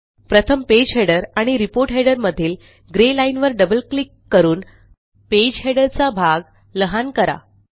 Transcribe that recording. प्रथम पेज Headerआणि report header मधील ग्रे लाईनवर डबल क्लिक करून पेज हेडर चा भाग लहान करा